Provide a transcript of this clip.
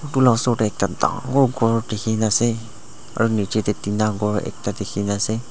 etu osor de ekta dangor kor diki asae aro nichi dae thinta kor ekta diki na asae.